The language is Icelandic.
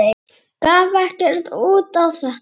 Gaf ekkert út á þetta.